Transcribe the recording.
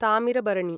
Thamirabarani